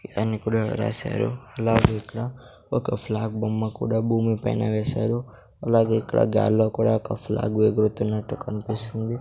కూడా రాశారు అలాగే ఇక్కడ ఒక ఫ్లాగ్ బొమ్మ కూడా భూమి పైన వేశారు అలాగే ఇక్కడ గాల్లో కూడా ఒక ఫ్లాగ్ ఎగురుతున్నట్టు కనిపిస్తుంది.